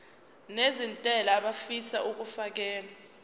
nezentela abafisa uukfakela